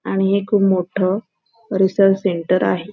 आणि हे एक मोठ रिसर्च सेंटर आहे.